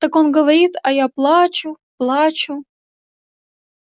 так он говорит а я плачу-плачу